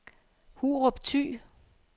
Hurup Thy